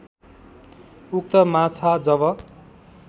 उक्त माछा जब